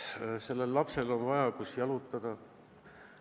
Sellel lapsel on vaja kohta, kus jalutada.